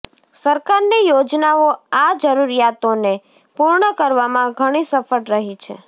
સરકારની યોજનાઓ આ જરૂરીયાતોને પૂર્ણ કરવામાં ઘણી સફળ રહી છે